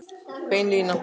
Bein lína